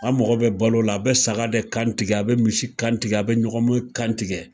An mako bɛ balo la, a bɛ saga de kan tigɛ, a bɛ misi kan, tigɛ, a bɛ ɲɔgɔmɛ kan tigɛ.